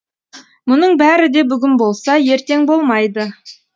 мұның бәрі де бүгін болса ертең болмайды